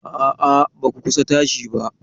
A'a, ba ku kusa tashi ba.